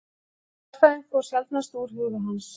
Stærðfræðin fór sjaldnast úr huga hans.